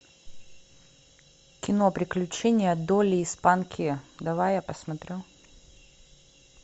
кино приключения долли и спанки давай я посмотрю